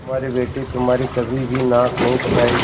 हमारी बेटी तुम्हारी कभी भी नाक नहीं कटायेगी